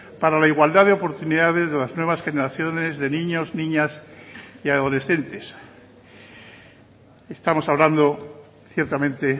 para la igualdad de oportunidades de las nuevas generaciones de niños niñas y adolescentes estamos hablando ciertamente